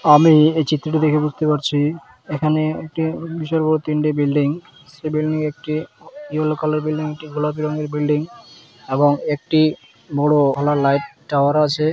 আমি এই চিত্রটি দেখে বুঝতে পারছি এখানে একটি বিশাল বড়ো তিনটি বিল্ডিং । বিল্ডিং এ একটি ইয়েলো কালার -এর বিল্ডিং একটি গোলাপি রঙের বিল্ডিং এবং একটি বড়ো ওয়ালা লাইট টাওয়ার ও আছে--